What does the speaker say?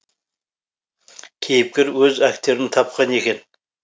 кейіпкер өз актерін тапқан екен